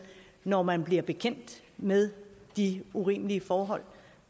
når man bliver bekendt med de urimelige forhold